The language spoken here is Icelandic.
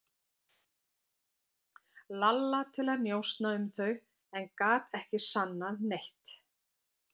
Lalla til að njósna um þau en gat ekki sannað neitt.